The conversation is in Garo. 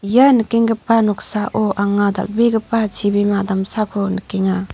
ia nikenggipa noksao anga dal·begipa chibima damsako nikenga.